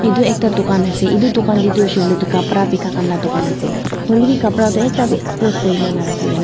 edu ekta dukan ase edudukna tae tu hoishey koilae tu kapra bikaikhan la ase hoilae bi kapra toh ekta bi expose kurina narakhina.